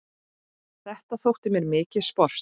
Þetta þótti mér mikið sport.